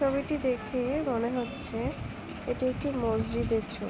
ছবিটি দেখে মনে হচ্ছে এইটি একটি মসজিদের ছবি।